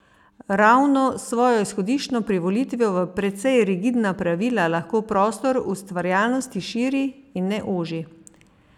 Ravno s svojo izhodiščno privolitvijo v precej rigidna pravila lahko prostor ustvarjalnosti širi, in ne oži.